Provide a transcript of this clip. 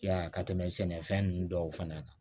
Ya ka tɛmɛ sɛnɛfɛn ninnu dɔw fana kan